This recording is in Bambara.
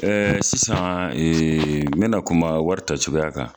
Ɛɛ sisan ee n bɛna na kuma wari ta cogoyaya kan